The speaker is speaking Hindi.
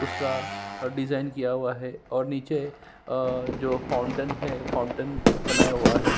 उसका डिज़ाइन किया हुआ है और निचे अ जो फाउडेन है फाउंटेन बना हुआ है।